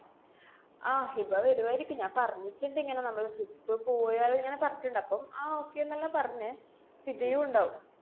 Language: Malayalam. അഹ് ഹിബ വര്വായിരിക്കും. ഞാന്‍ പറഞ്ഞിട്ട്ണ്ടിങ്ങനെ നമ്മള് ഹിബ പോയാല് ന്നങ്ങനെ പറഞ്ഞിട്ട്ണ്ട്. അപ്പം ആഹ് okay ന്നെല്ലാ പറഞ്ഞെ. ഹിബയുണ്ടാവും.